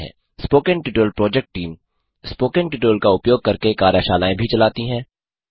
spoken tutorial project team spoken tutorial का उपयोग करके कार्यशालाएँ भी चलाती है